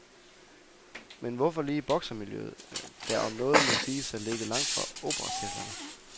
Men hvorfor lige boksermiljøet, der om noget må siges at ligge langt fra operacirklerne.